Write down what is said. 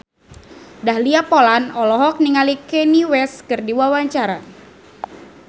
Dahlia Poland olohok ningali Kanye West keur diwawancara